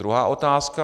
Druhá otázka.